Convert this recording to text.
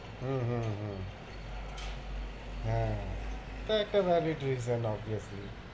হম হম হম হ্যাঁ, ওটা একটা